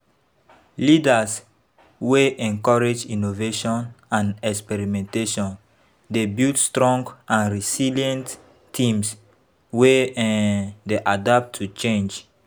Leaders wey encourage innovation and experimentation dey build strong and resilient teams wey um dey adapt to change.